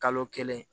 Kalo kelen